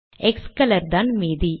க்ஸ்கோலர் தான் மீதி